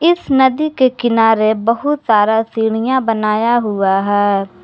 इस नदी के किनारे बहुत सारा सीढ़ियां बनाया हुआ है।